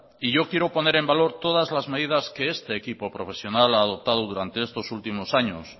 y yo quiero poner en valor todas las medidas que este equipo profesional ha adoptado durante estos últimos años